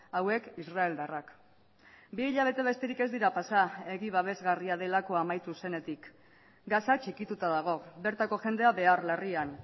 hauek israeldarrak bi hilabete besterik ez dira pasa hegi babesgarria delakoa amaitu zenetik gaza txikituta dago bertako jendea behar larrian